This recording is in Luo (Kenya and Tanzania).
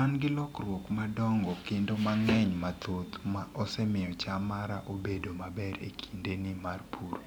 An gi lokruok madongo kendo mang'eny mathoth ma osemiyo cham mara obedo maber e kinde ni mar pur.